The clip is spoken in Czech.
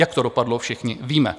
Jak to dopadlo, všichni víme.